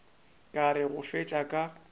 ka re go fetša ka